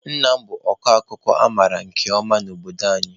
Nna m bụ ọkọ akụkọ a mara nke ọma n'obodo anyị.